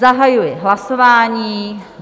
Zahajuji hlasování.